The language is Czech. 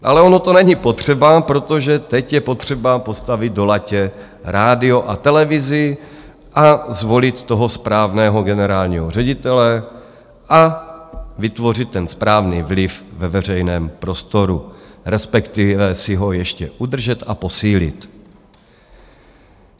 Ale ono to není potřeba, protože teď je potřeba postavit do latě rádio a televizi a zvolit toho správného generálního ředitele a vytvořit ten správný vliv ve veřejném prostoru, respektive si ho ještě udržet a posílit.